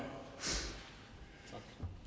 det